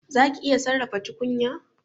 Zaki iya sarrafa tukunya?